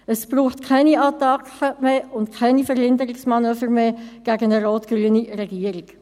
Es braucht keine Attacken und keine Verhinderungsmanöver mehr gegen eine rot-grüne Regierung.